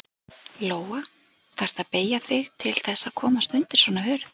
Lóa: Þarftu að beygja þig til þess að komast undir svona hurð?